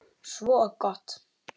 Svo gott!